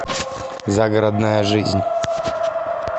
загородная жизнь